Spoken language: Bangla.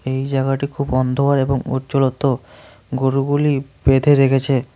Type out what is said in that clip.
এই জাগাটি খুব অন্ধকার এবং উজ্জ্বলত গরুগুলি বেঁধে রেখেছে।